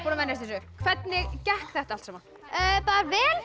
að venjast þessu hvernig gekk þetta allt saman bara vel